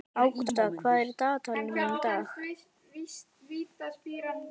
Ágústa, hvað er í dagatalinu mínu í dag?